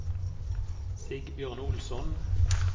Sigbjørn Olsson